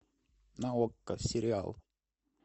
на окко сериал